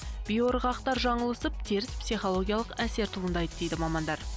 биоырғақтар жаңылысып теріс психологиялық әсер туындайды дейді мамандар